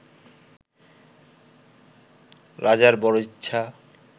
রাজার বড় ইচ্ছা